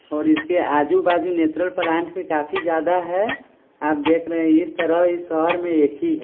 और इसकेआजू-बाजू natural plant भी काफी ज्यादा है आप देख रहे है इस तरह इस शहर में एक ही है।